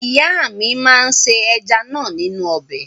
Ìyà mú se ẹja náà nínú ọbẹ̀.